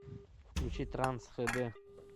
включи транс хд